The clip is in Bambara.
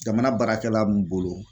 Jamana baarakɛla mun bolo